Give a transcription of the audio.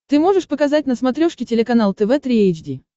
ты можешь показать на смотрешке телеканал тв три эйч ди